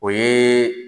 O ye